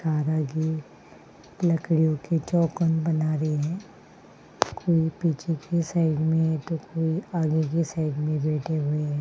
लकड़ियों की चौपट बना रही है कोई पीछे की साइड में तो कोई आगे की साइड में बैठे हुए हैं।